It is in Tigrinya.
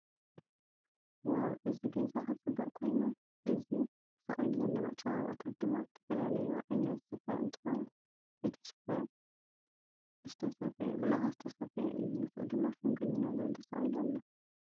ዋው እዚ ገዛ ክፅብቅ ኮይኑ። እዚ ተሰቂሉ ዘሎ መፀባበቂታት ድማ ዝተፈላለዩ ዓይነት ስፈ እንትከውን እቲ ስፈ ብላካ ዝተሰፈየ እዩ። ምስኡ ድማ ሽምግልና ዝብል ተሰቂሉ ኣሎ።